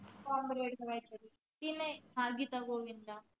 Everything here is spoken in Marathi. करायच की नाई हां गीता गोविंदा